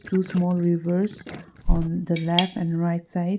to small rivers on the life and right side.